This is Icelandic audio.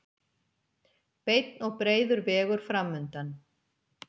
Beinn og breiður vegur framundan.